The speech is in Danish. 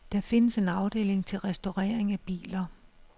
Der findes en afdeling til restaurering af biler.